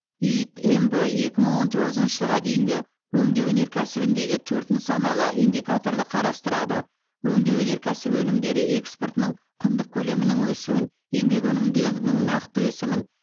иид мб екі мың он тоғызыншы жылға дейін өңдеу өнеркәсібіндегі төрт нысаналы индикаторды қарастырады өңдеу өнеркәсібі өнімдері экспортының құндық көлемінің өсуін еңбек өнімділігінің нақты өсімін